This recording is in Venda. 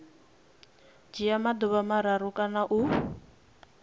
dzhia maḓuvha mararu kana u